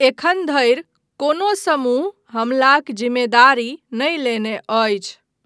एखन धरि कोनो समूह हमलाक जिम्मेदारी नहि लेने अछि।